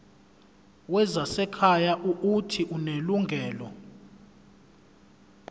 wezasekhaya uuthi unelungelo